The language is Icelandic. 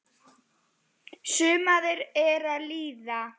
Sumarið er að líða.